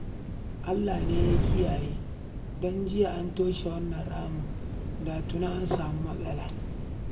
Allah ne ya kiyaye an toshe wannan ramin, da jiya an samu matsala